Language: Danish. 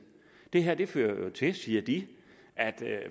det her fører til siger de at